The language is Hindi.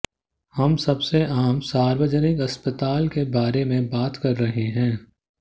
हम सबसे आम सार्वजनिक अस्पताल के बारे में बात कर रहे हैं